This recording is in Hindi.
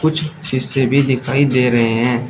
कुछ शीशे भी दिखाई दे रहे हैं।